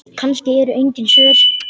Kannski eru engin svör.